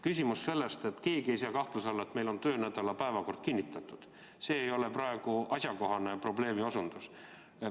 Keegi ei sea kahtluse alla, et meil on töönädala päevakord kinnitatud, see ei ole praegu asjakohane probleemiasetus.